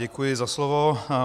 Děkuji za slovo.